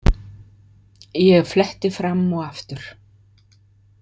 Ég fletti fram og aftur.